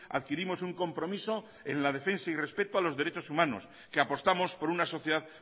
adquirimos un compromiso en la defensa y respeto a los derechos humanos que apostamos por una sociedad